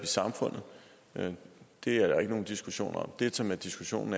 samfundet og det er der ikke nogen diskussion om det som diskussionen